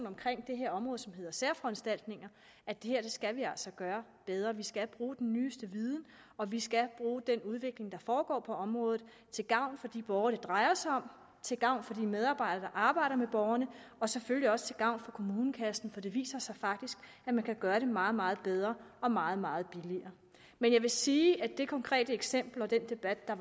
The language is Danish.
omkring det her område som hedder særforanstaltninger at det her skal vi altså gøre bedre vi skal bruge den nyeste viden og vi skal bruge den udvikling der foregår på området til gavn for de borgere det drejer sig om til gavn for de medarbejdere der arbejder med borgerne og selvfølgelig også til gavn for kommunekassen for det viser sig faktisk at man kan gøre det meget meget bedre og meget meget billigere men jeg vil sige at det konkrete eksempel og den debat der